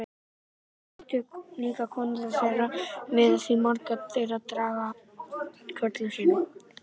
Láttu líka konurnar þeirra vera því margar þeirra draga dám af körlum sínum.